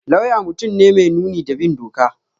Lauya mutum ne mai nuni da bin doka